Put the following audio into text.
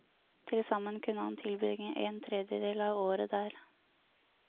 Tilsammen kunne han tilbringe en tredjedel av året der.